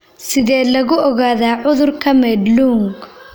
Sidee lagu ogaadaa cudurka Madelung?